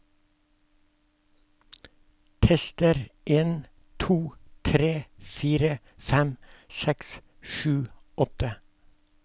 Tester en to tre fire fem seks sju åtte